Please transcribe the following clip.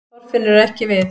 Þorfinnur er ekki við